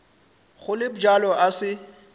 go le bjalo a se